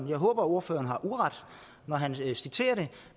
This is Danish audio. jeg håber at ordføreren har uret når han citerer det